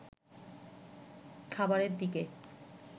খাবারের দিকে